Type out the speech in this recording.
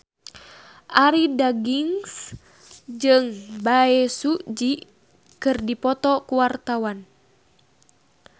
Arie Daginks jeung Bae Su Ji keur dipoto ku wartawan